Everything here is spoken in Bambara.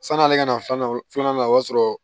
San'ale ka na filanan filanan o y'a sɔrɔ